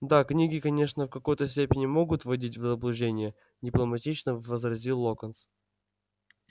да книги конечно в какой-то степени могут вводить в заблуждение дипломатично возразил локонс